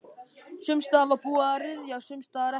Sums staðar var búið að ryðja, sums staðar ekki.